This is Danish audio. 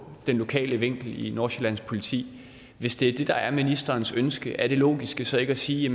den lokale vinkel i nordsjællands politi hvis det er det der er ministerens ønske er det logiske så ikke at sige